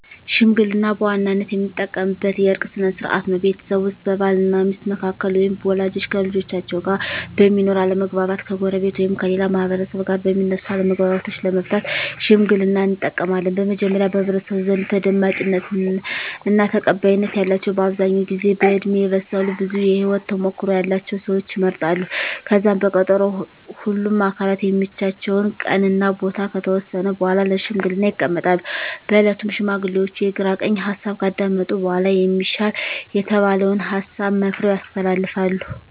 ሽምግልና በዋናነት የምንጠቀምበት የእርቅ ስነ ስርዓት ነው። ቤተሰብ ውስጥ በባል እና ሚስት መካከል ወይም ወላጆች ከልጆቻቸው ጋር በሚኖር አለመግባባት፣ ከጎረቤት ወይም ከሌላ ማህበረሰብ ጋር በሚነሱ አለመግባባቶች ለመፍታት ሽምግልናን እንጠቀማለን። በመጀመሪያ በህብረተሰቡ ዘንድ ተደማጭነት እና ተቀባይነት ያላቸው በአብዛኛው ጊዜ በእድሜ የበሰሉ ብዙ የህወት ተሞክሮ ያለቸው ሰወች ይመረጣሉ። ከዛም በቀጠሮ ሁምም አካላት የሚመቻቸውን ቀን እና ቦታ ከተወሰነ በኃላ ለሽምግልና ይቀመጣሉ። በእለቱም ሽማግሌዎቹ የግራ ቀኝ ሀሳብ ካዳመጡ በኃላ የሚሻል የተባለውን ሀሳብ መክረው ያስተላልፋሉ።